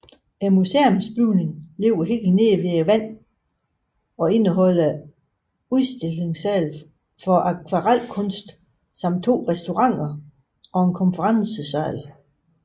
Museumsbygningen ligger helt nede ved vandet og indeholder udstillingssale for akvarelkunst samt to restauranter og en konferencesal